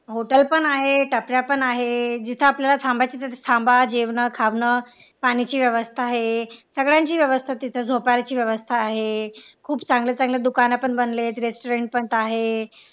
Hotel पण आहेत टपऱ्या पण आहेत जिथे आपल्याला थांबायचं तिथं थांबा जेवण खावंन पाण्याची व्यवस्था आहे सगळ्यांची व्यवस्था तिथं झोपायची व्यवस्था आहे खूप चांगलं चांगलं दुकान पण बनलेत restaurant पण आहेत.